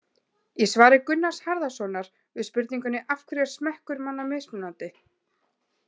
Í svari Gunnars Harðarsonar við spurningunni Af hverju er smekkur manna mismunandi?